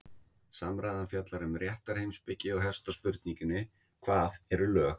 Samræðan fjallar um réttarheimspeki og hefst á spurningunni Hvað eru lög?